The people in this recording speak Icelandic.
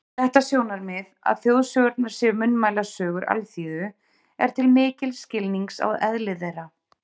Þetta sjónarmið, að þjóðsögurnar séu munnmælasögur alþýðu, er til mikils skilnings á eðli þeirra.